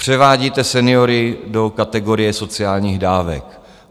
Převádíte seniory do kategorie sociálních dávek.